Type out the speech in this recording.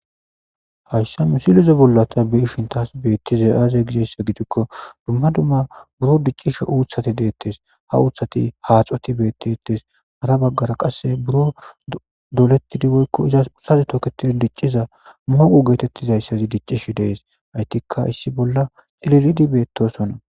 hayssa mi silize bolla ta be ishin taas beettize aaze gizessa gidikko dumma dumma buro diccishi uuthati deettes ha uuthati haaxoti beettittes mara baggara qasse buro dolettidiboykko izas ussazi toketid dicciza mooqu geetettizayssazi diccishi dees aytikka issi bolla xiliridi beettosonna